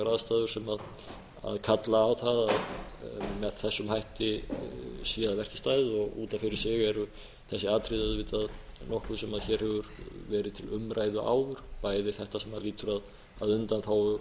aðstæður sem kalla á það að með þessum hætti sé að verki staðið og út af fyrir sig eru þessi atriði auðvitað nokkuð sem hér hefur verið til umræðu áður bæði þetta sem lýtur að undanþágu